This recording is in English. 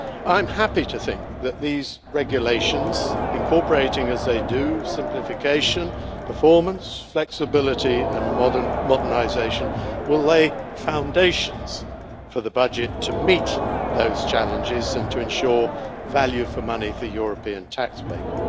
I am happy to think that these regulations, incorporating as they do simplification, performance, flexibility and modernisation, will lay foundations for the budget to meet those challenges and to ensure value for money for European taxpayers.